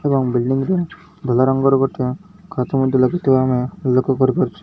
ଏବଂ ବିଲିଡ଼ିଂ ରେ ଧଲା ରଙ୍ଗର ଗୋଟେ କାଠ ମଧ୍ୟ ଲାଗିଥିବା ଆମେ ଲକ୍ଷ୍ୟ କରିପାରୁଛୁ।